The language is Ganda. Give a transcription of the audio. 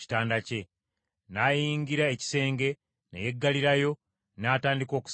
N’ayingira ekisenge, ne yeggalirayo, n’atandika okusaba Mukama .